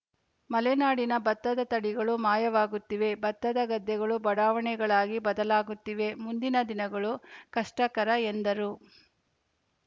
ಮಲೆನಾಡಿನ ಭತ್ತದ ತಳಿಗಳು ಮಾಯವಾಗುತ್ತಿವೆ ಭತ್ತದ ಗದ್ದೆಗಳು ಬಡಾವಣೆಗಳಾಗಿ ಬದಲಾಗುತ್ತಿವೆ ಮುಂದಿನ ದಿನಗಳು ಕಷ್ಟಕರ ಎಂದರು